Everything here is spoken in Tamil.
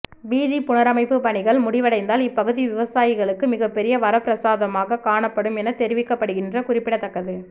வீதி புனரமைப்பு பணிகள் முடிவடைந்தால் இப்பகுதி விவசாயிகளுக்கு மிகப்பெரிய வரப்பிரசாதமாக காணப்படும் என தெரிவிக்கப்படுகின்ற குறிப்பிடத்தக்கது